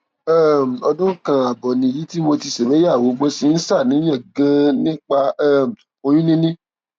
um ọdún kan ààbọ nìyí tí mo ti ṣègbéyàwó mo sì ń ṣàníyàn ganan nípa um oyún níní